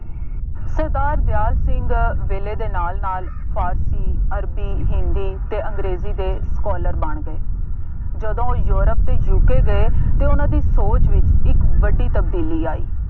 ਸਰਦਾਰ ਦਿਆਲ ਸਿੰਘ ਅਹ ਵੇਲੇ ਦੇ ਨਾਲ ਨਾਲ ਫਾਰਸੀ, ਅਰਬੀ, ਹਿੰਦੀ ਅਤੇ ਅੰਗਰੇਜ਼ੀ ਦੇ scholar ਬਣ ਗਏ। ਜਦੋਂ ਯੂਰਪ ਅਤੇ UK ਗਏ, ਤੇ ਉਹਨਾ ਦੀ ਸੋਚ ਵਿੱਚ ਇੱਕ ਵੱਡੀ ਤਬਦੀਲੀ ਆਈ।